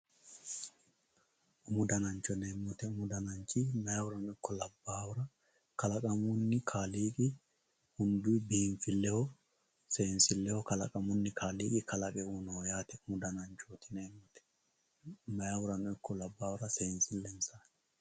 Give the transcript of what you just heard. Umu danancho yinemo woyite mayihurano ikko labahura kalaqamuni kaaliqi hunduyi binfileho seensileho kalaqamuni qaaliqi kalaqe uyinoho yaate umu dananchoti yinemo woyite mayihurano ikko seensilensati.